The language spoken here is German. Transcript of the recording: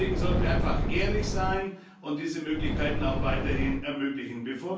Deswegen sollten wir einfach ehrlich sein und diese Möglichkeiten auch weiterhin ermöglichen.